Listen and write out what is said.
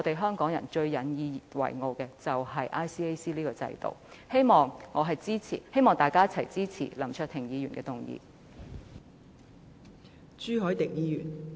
香港人最引以自豪的就是 ICAC 這個制度，希望大家一同支持林卓廷議員的議案。